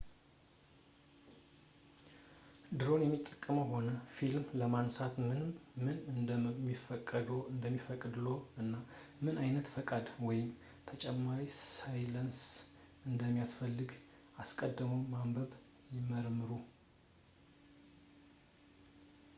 ድሮን የሚጠቀሙ ከሆነ ፊልም ለማንሳት ምን እንደሚፈቀድልዎ እና ምን ዓይነት ፈቃድ ወይም ተጨማሪ ላይሰንስ እንደሚያስፈልግ አስቀድመው በደንብ ይመርምሩ